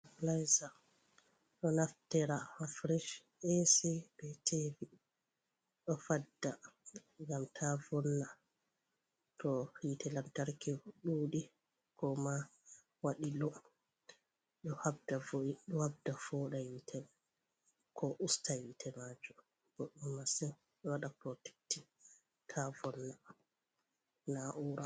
Lisa ɗo naftira ha fresh, ac, be tv ɗo fadda ngam ta vonna to hitte lantarki ɗuɗi ko ma waɗi low ɗo habda foda hitte mai ko usta hitte majum, boɗɗum massin ɗo waɗa protectin ta vonna na'ura.